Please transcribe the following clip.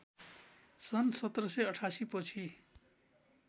सन् १७८८ पछि